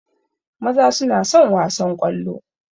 Maza suna son wasan ƙwallo